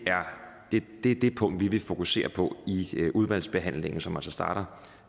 er det punkt vi vil fokusere på i udvalgsbehandlingen som altså starter